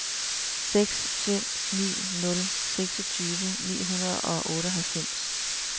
seks fem ni nul seksogtyve ni hundrede og otteoghalvfems